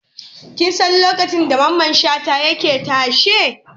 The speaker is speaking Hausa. Kin san lokacin da Mamman Shata yake tashe?